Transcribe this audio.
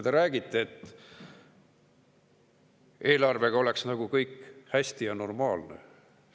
Te räägite, nagu eelarvega oleks kõik hästi ja normaalne.